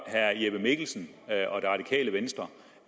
herre jeppe mikkelsen og det radikale venstre